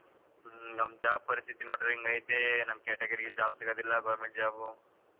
ಹ್ಮ್ ನಮ್ job ಪರಿಸ್ಥಿತಿ ನೋಡಿದ್ರೆ ಇಂಗ್ ಐತಿ ನಮ್ಗೆ category ಗೆ job ಸಿಗದಿಲ್ಲ government job ಉ.